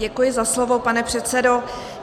Děkuji za slovo, pane předsedo.